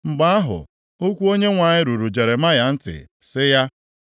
Mgbe ahụ, okwu Onyenwe anyị ruru Jeremaya ntị sị ya,